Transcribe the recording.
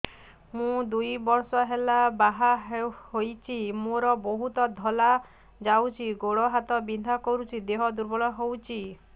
ମୁ ଦୁଇ ବର୍ଷ ହେଲା ବାହା ହେଇଛି ମୋର ବହୁତ ଧଳା ଯାଉଛି ଗୋଡ଼ ହାତ ବିନ୍ଧା କରୁଛି ଦେହ ଦୁର୍ବଳ ହଉଛି